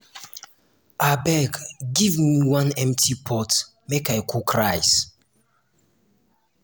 abeg give me one empty pot make i cook rice